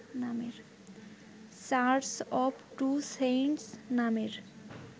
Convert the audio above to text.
church of two saints নামের